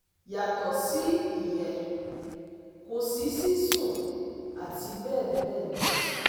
Yàtọ̀ sí ìyẹn, kò sí sísun àti bẹ́ẹ̀ bẹ́ẹ̀ lọ